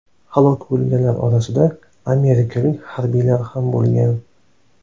Halok bo‘lganlar orasida amerikalik harbiylar ham bo‘lgan.